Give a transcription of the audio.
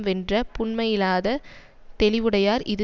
வென்ற புன்மையிலாத தெளிவுடையார் இது